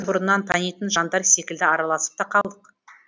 бұрыннан танитын жандар секілді араласып та алдық